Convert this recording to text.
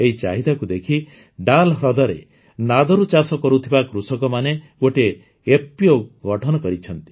ଏହି ଚାହିଦାକୁ ଦେଖି ଡାଲ୍ ହ୍ରଦରେ ନାଦରୁ ଚାଷ କରୁଥିବା କୃଷକମାନେ ଗୋଟିଏ ଏଫପିଓ ଗଠନ କରିଛନ୍ତି